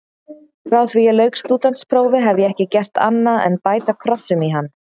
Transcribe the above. Frá því ég lauk stúdentsprófi hef ég ekki gert annað en bæta krossum í hann.